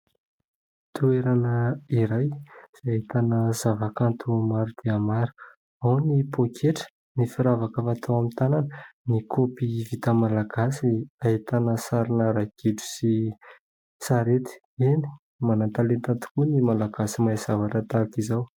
Toerana iray izay ahitana zava-kanto maro dia maro. Ao ny pôketra, ny firavaka fatao amin'ny tanana, ny kaopy vita malagasy ahitana sarina ragidro sy sarety. Eny manan-talenta tokoa ny malagasy mahay zavatra tahaka izao.